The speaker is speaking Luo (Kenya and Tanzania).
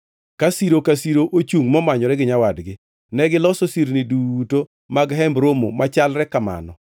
ka siro ka siro ochungʼ momanyore gi nyawadgi. Negiloso sirni duto mag Hemb Romo machalre kamano.